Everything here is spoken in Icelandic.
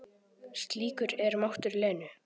Slíkur er máttur Lenu.